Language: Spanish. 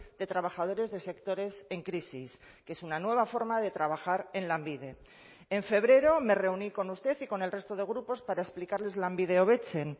de trabajadores de sectores en crisis que es una nueva forma de trabajar en lanbide en febrero me reuní con usted y con el resto de grupos para explicarles lanbide hobetzen